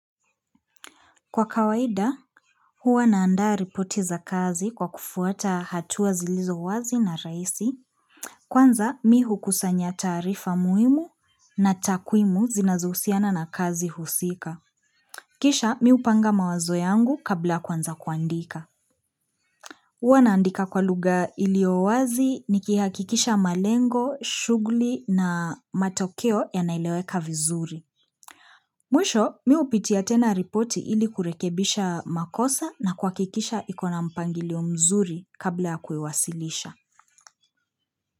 Kwa kawaida, huwa naandaa ripoti za kazi kwa kufuata hatua zilizo wazi na rahisi, kwanza mi hukusanya taarifa muhimu na takwimu zinazohusiana na kazi husika. Kisha, mi hupanga mawazo yangu kabla ya kwanza kuandika. Huwa naandika kwa lugha iliyowazi nikihakikisha malengo, shughuli na matokeo yanaeleweka vizuri. Mwisho, mi hupitia tena ripoti ili kurekebisha makosa na kuhakikisha ikona mpangilio mzuri kabla ya kuiwasilisha.